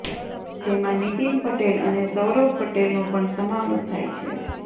જેમાં નીતિન પટેલ અને સૌરભ પટેલનો પણ સમાવેશ થાય છે